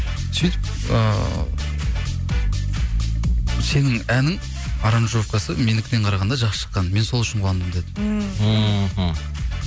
сөйтіп ыыы сенің әнің аранжировкасы менікінен қарағанда жақсы шыққан мен сол үшін қуандым деді ммм мхм